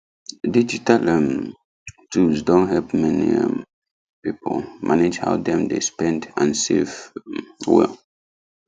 digital um tools don help many um people manage how dem dey spend and save um well